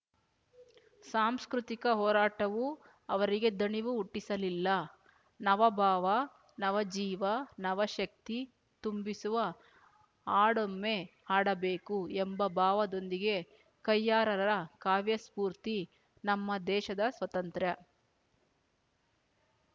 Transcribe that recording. ಸಾಂಸ್ಕೃತಿಕ ಹೋರಾಟವು ಅವರಿಗೆ ದಣಿವು ಹುಟ್ಟಿಸಲಿಲ್ಲ ನವಭಾವ ನವಜೀವ ನವಶಕ್ತಿ ತುಂಬಿಸುವ ಹಾಡೊಮ್ಮೆ ಹಾಡಬೇಕು ಎಂಬ ಭಾವದೊಂದಿಗೆ ಕಯ್ಯಾರರ ಕಾವ್ಯ ಸ್ಫೂರ್ತಿ ನಮ್ಮ ದೇಶದ ಸ್ವತಂತ್ರ್ಯ